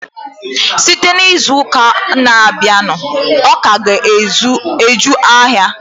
Site n'izuụka na-abịanụ, ọka ga-eju ahịa.